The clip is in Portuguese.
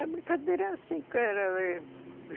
A brincadeira é assim, cara.